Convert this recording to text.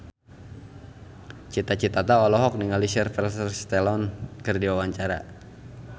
Cita Citata olohok ningali Sylvester Stallone keur diwawancara